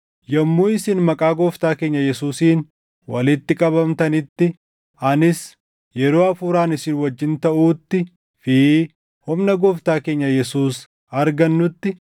Yommuu isin maqaa Gooftaa keenya Yesuusiin walitti qabamtanitti anis yeroo hafuuraan isin wajjin taʼuuttii fi humna Gooftaa keenya Yesuus arganutti,